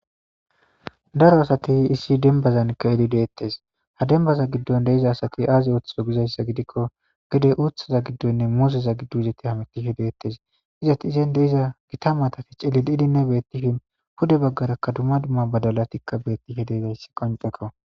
Daro asti issi demibazani ke'id detesi , ha dembzani gidoni de'iza asati azi oothizo gizaysa gidikon gede uuthaza gidonne muuzeza gido hamutishe de'etes,izeti izani de'iza Gita maatati cililid beetishn, pude bagaraka dumma dumma badalati beetishe de'izaysi qoncekko.